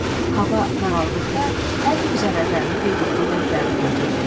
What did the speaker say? Hava qaraldıqda, hər gün zərərlərini qeyd etdiyi dəftərini götürdü.